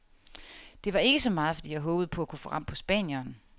Det var ikke så meget, fordi jeg håbede på at kunne få ram på spanieren.